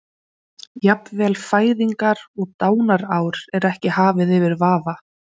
Jafnvel fæðingar- og dánarár er ekki hafið yfir vafa.